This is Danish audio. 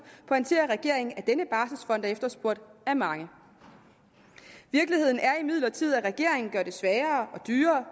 pointerer regeringen at denne barselsfond er efterspurgt af mange virkeligheden er imidlertid at regeringen gør det sværere og dyrere